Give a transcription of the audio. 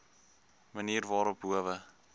manier waarop howe